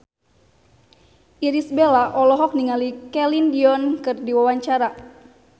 Irish Bella olohok ningali Celine Dion keur diwawancara